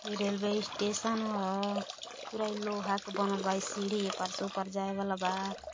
ई railway station ह| पूरा इ लोहा क बनल बा| इ सीढ़ी ह ए पार से ओ पार जाए वाला बा |